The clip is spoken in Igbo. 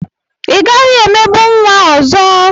Ị gaghị emegbu nwa ọzọ!